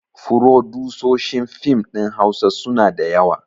Furodusoshin fim ɗin hausa suna da yawa